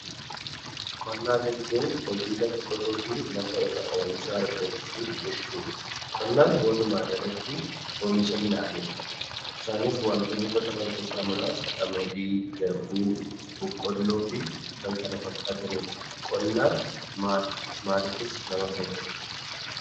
Qonnaa jechuun hojii lafa qotuu fi lafa irraa oomisha argachuu jechuudha. Qonnaan walumaagalatti oomisha midhaaniidha. Isaanis waantonni qotaman keessaa muraasa qamadii, garbuu, boqqolloo fi kan kana fakkaatanidha. Qonnaan maali? Maaliifis nama fayyada?